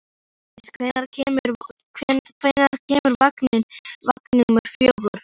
Mánadís, hvenær kemur vagn númer fjögur?